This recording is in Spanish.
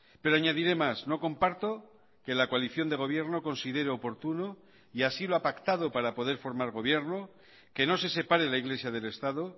pero añadiré más no comparto que la coalición de gobierno considere oportuno y así lo ha pactado para poder formar gobierno que no se separe la iglesia del estado